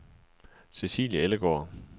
Cecilie Ellegaard